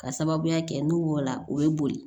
Ka sababuya kɛ n'o la o ye boli